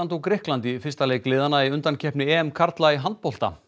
og Grikkland í fyrsta leik liðanna í undankeppni karla í handbolta